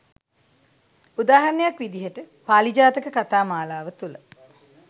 උදාහරණයක් විදිහට පාළි ජාතක කතා මාලාව තුළ